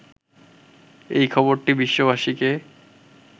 এই খবরটি বিশ্ববাসীকে